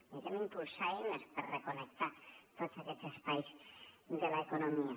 necessitem impulsar eines per reconnectar tots aquests espais de l’economia